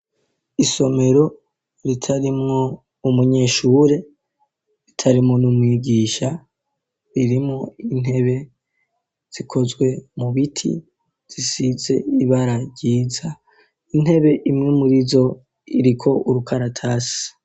Isomero ritarimwo umunyeshure, ritarimwo n'umwigisha, ririmwo intebe zikozwe mu biti, zisize ibara ryiza. Intebe imwe muri zo iriko urukaratasi.